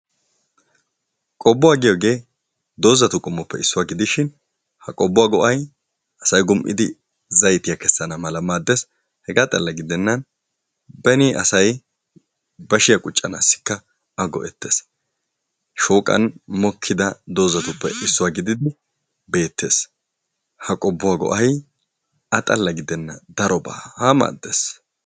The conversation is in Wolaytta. Qobbuwaa giyaagee doozzatu qommuwaappe issuwaa gidishin ha qobbuwaa go"ay asay gum"idi zayttiyaa keesana mala maddees. hegaa xalakka gidennan beni asay bashshiyaa quccanaassikka a go"ettees. shooqan mokkida doozatuppe issuwaa gididi beettes. ha qobbuwaa go'ay a xalla gidenna darobaa maddees.